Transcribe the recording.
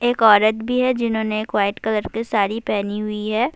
ایک عورت بھی ہے جنہوں نے ایک وائٹ کلر کی ساری پہنی ہوئی ہے-